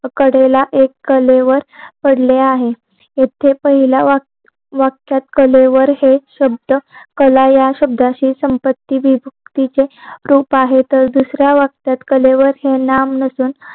कलेला ऐक कलेवर पडले आहेत इथे पहिल्या वाक्यात कलेवर हे शब्द कला या शब्दाशी संपत्ती विभुक्ती हे रूप आहे तर दुसया वाक्यात कलेवर हे नाम नसून